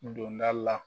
Don da la